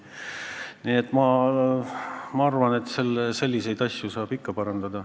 Nii et ma arvan, et selliseid asju saab ikka parandada.